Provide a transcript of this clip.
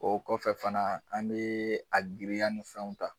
O kɔfɛ fana an bɛ a girinya ni fɛnw ta.